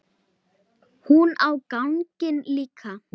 Hún á ganginn líka.